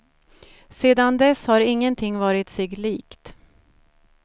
Sedan dess har ingenting varit sig likt.